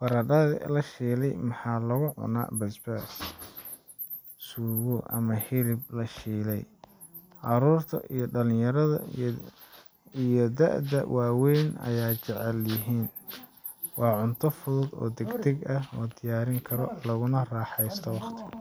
Barandhe la shiilay waxaa lagu cunaa basbaas, , suugo, ama hilib la shiilay. Carruurta, dhalinyarada, iyo dadka waaweynba way jecel yihiin. Waa cunto fudud oo degdeg loo diyaarin karo, laguna raaxaysto wakhti.